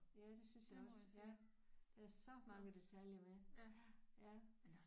Ja det synes jeg også ja. Der er så mange detaljer med ja